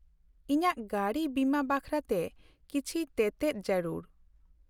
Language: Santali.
ᱼᱤᱧᱟᱜ ᱜᱟᱹᱰᱤ ᱵᱤᱢᱟᱹ ᱵᱟᱠᱷᱨᱟᱛᱮ ᱠᱤᱪᱷᱤ ᱛᱮᱛᱮᱫ ᱡᱟᱹᱨᱩᱲ ᱾